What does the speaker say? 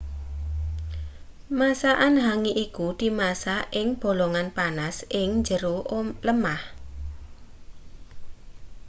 masakan hangi iku dimasak ing bolongan panas ing jero lemah